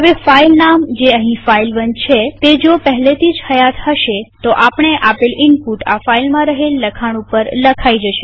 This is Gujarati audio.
હવે ફાઈલ નામ જે અહીં ફાઇલ1 છે તે જો પહેલેથી હયાત હશે તો આપણે આપેલ ઈનપુટ આ ફાઈલમાં રહેલ લખાણ ઉપર લખાઈ જશે